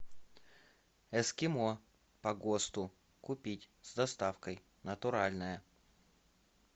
эскимо по госту купить с доставкой натуральное